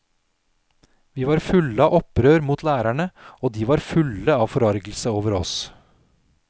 Vi var fulle av opprør mot lærerne, og de var fulle av forargelse over oss.